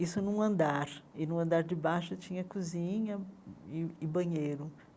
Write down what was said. Isso num andar, e no andar de baixo tinha cozinha e e banheiro.